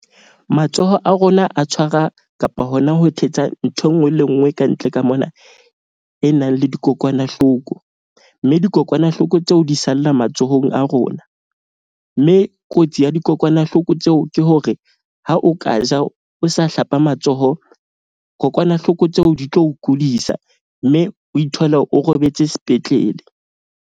Matsoho a rona a tshwara kapa hona ho thetsa nthwe enngwe le enngwe kantle ka mona e nang le dikokwanahloko. Mme dikokwanahloko tseo di salla matsohong a rona, mme kotsi ya dikokwanahloko tseo ke hore ha o ka ja o sa hlapa matsoho, kokwanahloko tseo di tlo kudisa. Mme o ithole o robetse spetlele.